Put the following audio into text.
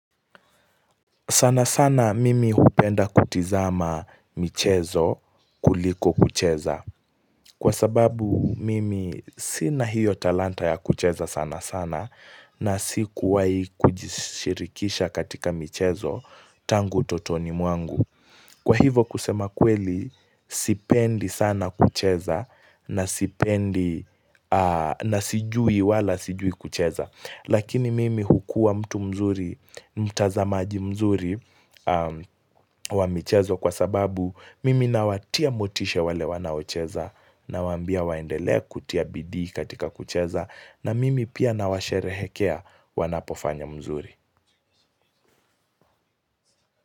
Sana sana mimi hupenda kutizama michezo kuliko kucheza. Kwa sababu mimi sina hiyo talanta ya kucheza sana sana na si kuwahi kujishirikisha katika michezo tangu utotoni mwangu. Kwa hivo kusema kweli sipendi sana kucheza na sipendi na sijui wala sijui kucheza. Lakini mimi hukua mtu mzuri, mtazamaji mzuri wa michezo kwa sababu mimi nawatia motisha wale wanaocheza nawaambia waendele kutia bidi katika kucheza na mimi pia nawasherehekea wanapofanya mzuri.